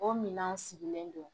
O minan sigilen don